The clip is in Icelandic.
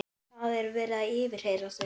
Það er verið að yfirheyra þau.